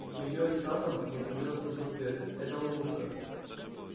змеёй саттом возбуждённо спросил твер это ловушка